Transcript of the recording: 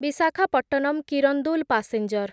Visakhapatnam Kirandul passenger